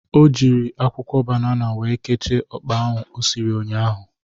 O jịrị akwụkwọ banana wee kechie ọkpa ahụ o siri ụnyaahụ.